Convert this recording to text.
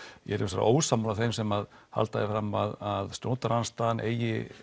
ég er hins vegar ósammála þeim sem halda því fram að stjórnarandstaðan eigi